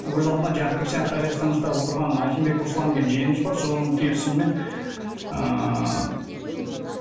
өз алдына жаңағы крестьянское хозяствомызда отырған ахимбеков руслан деген жиеніміз бар соның келісімімен ыыы